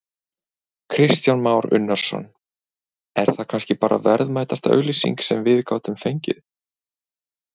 Kristján Már Unnarsson: Er það kannski bara verðmætasta auglýsing sem við gátum fengið?